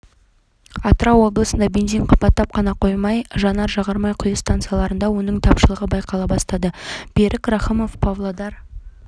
атырау облысында бензин қымбаттап қана қоймай жанар-жағармай құю стансаларында оның тапшылығы байқала бастады берік рахымов павлодар